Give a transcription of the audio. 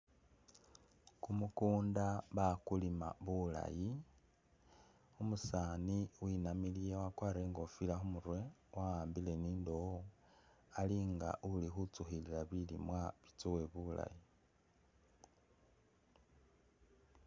Kumukunda bakulima bulaayi umusaani winamiliye wakwarile ingofila kumurwe wahambile ni indowo ali nga uli khutsukhilila bilimwa bitsowe bulaayi.